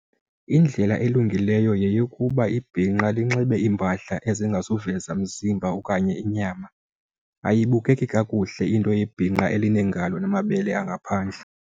Indlela elungileyo yeyokuba ibhinqa linxibe iimpahla ezingazuveza mzimba okanye inyama. Ayibukeki kakuhle into yebhinqa elineengalo namabele angaphandle.